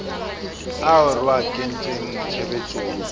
ao re a kentseng tshebetsong